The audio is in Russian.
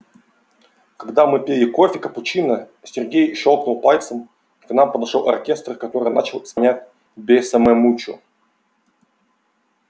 когда мы пили кофе капучино сергей щёлкнул пальцем и к нам подошёл оркестр который начал исполнять бесса ме мучо